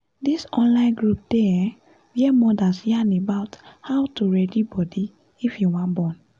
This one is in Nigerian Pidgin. this online group dey[um]where mothers yarn about how to ready body if you wan born